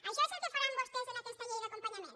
això és el que faran vostès en aquesta llei d’acompanyament